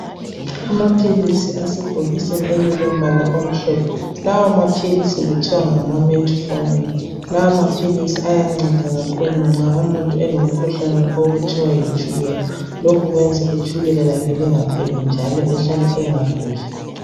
Amaphilisi asebhokisini elilombala omhlophe ,lawo maphilisi kuthiwa ngama "metformine" lawo maphilisi ayanceda kakhulu nxa umuntu elomkhuhlane okuthiwa yitshukela ,lokhu kwenza itshukela lakhe lingakhweli njalo ehlale engaguli .